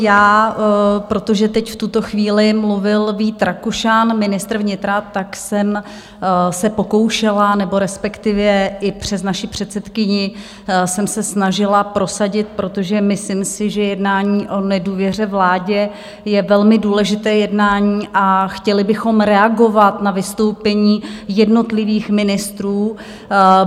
Já, protože teď v tuto chvíli mluvil Vít Rakušan, ministr vnitra, tak jsem se pokoušela, nebo respektive i přes naši předsedkyni jsem se snažila prosadit, protože myslím si, že jednání o nedůvěře vládě je velmi důležité jednání, a chtěli bychom reagovat na vystoupení jednotlivých ministrů.